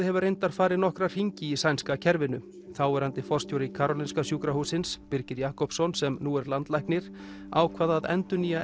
hefur reyndar farið nokkra hringi í sænska kerfinu þáverandi forstjóri Karolinska sjúkrahússins Birgir Jakobsson sem nú er landlæknir ákvað að endurnýja